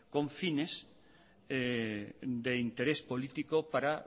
con fines de interés político para